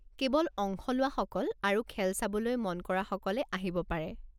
কেৱল অংশ লোৱাসকল আৰু খেল চাবলৈ মন কৰাসকলে আহিব পাৰে।